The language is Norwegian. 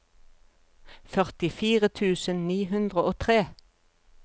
førtifire tusen ni hundre og tre